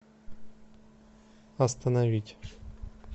остановить